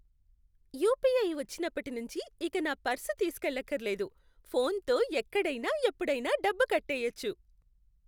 UPI వచ్చినప్పటి నుంచి ఇక నా పర్సు తీసుకెళ్లక్కర్లేదు. ఫోన్తో ఎక్కడైనా ఎప్పుడైనా డబ్బు కట్టెయ్యొచ్చు.